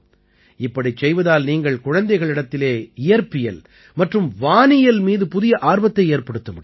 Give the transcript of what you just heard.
இப்படிச் செய்வதால் நீங்கள் குழந்தைகளிடத்திலே இயற்பியல் மற்றும் வானியல் மீது புதிய ஆர்வத்தை ஏற்படுத்த முடியும்